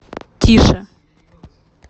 тише